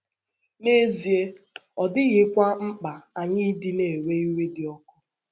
N’ezie, ọ dịghịkwa mkpa anyị ịdị ‘ na - ewe iwe dị ọkụ. ’